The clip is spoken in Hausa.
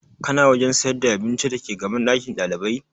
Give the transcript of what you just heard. Kana wajen sayar da abinci dake gaban ɗakin ɗalibai?